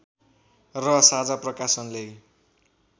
र साझा प्रकाशनले